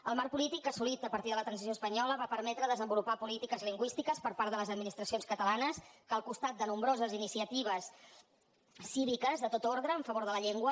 el marc polític assolit a partir de la transició espanyola va permetre desenvolupar polítiques lingüístiques per part de les administracions catalanes que al costat de nombroses iniciatives cíviques de tot ordre a favor de la llengua